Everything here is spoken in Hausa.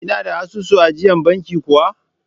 Kina da asusun ajiyar banki kuwa?